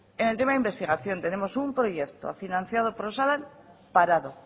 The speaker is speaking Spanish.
en el tema de investigación tenemos un proyecto financiado por osalan parado